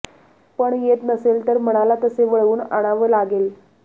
पण येत नसेल तर मनाला तसे वळवून आणाव लागेल